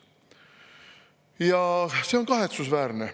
Ja see on kahetsusväärne.